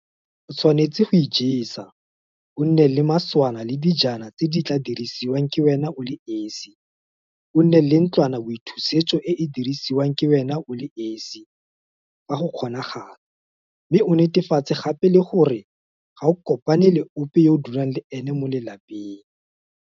O tshwanetse go ijesa o nne le maswana le dijana tse di tla dirisiwang ke wena o le esi, o nne le ntlwanaboithusetso e e dirisiwang ke wena o le esi, fa go kgonagala, mme o netefatse gape le gore ga o kopane le ope wa ka fa lapeng.